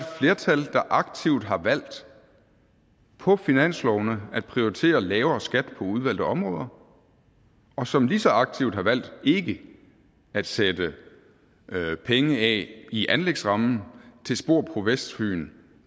flertal der aktivt har valgt på finanslovene at prioritere lavere skat på udvalgte områder og som lige så aktivt har valgt ikke at sætte penge af i anlægsrammen til spor på vestfyn